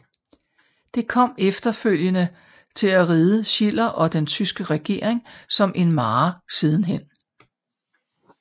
Det kom efterfølgende til at ride Schiller og den tyske regering som en mare sidenhen